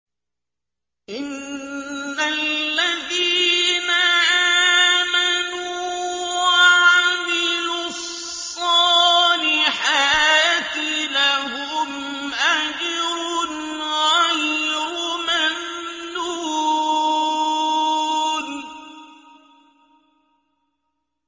إِنَّ الَّذِينَ آمَنُوا وَعَمِلُوا الصَّالِحَاتِ لَهُمْ أَجْرٌ غَيْرُ مَمْنُونٍ